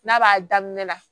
N'a b'a daminɛ na